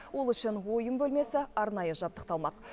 ол үшін ойын бөлмесі арнайы жабдықталмақ